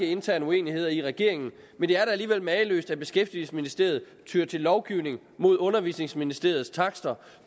intern uenighed i regeringen men det er da alligevel mageløst at beskæftigelsesministeriet tyr til lovgivning mod undervisningsministeriets takster